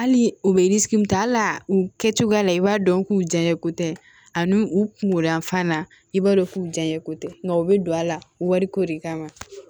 Hali u bɛ ta al'a u kɛcogoya la i b'a dɔn k'u janɲa ko tɛ ani u kungo yan fan na i b'a dɔn k'u janɲako tɛ nka u bɛ don a la wariko de kama